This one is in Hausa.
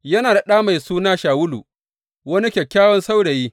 Yana da ɗa mai suna Shawulu, wani kyakkyawan saurayi.